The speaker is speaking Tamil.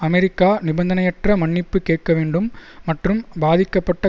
அமெரிக்கா நிபந்தனையற்ற மன்னிப்பு கேட்க வேண்டும் மற்றும் பாதிக்கப்பட்ட